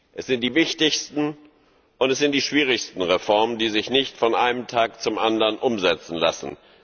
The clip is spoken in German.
Es sind die wichtigsten, und es sind die schwierigsten Reformen, die sich nicht von einem Tag zum anderen umsetzen lassen.